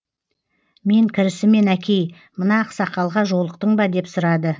мен кірісімен әкей мына ақсақалға жолықтың ба деп сұрады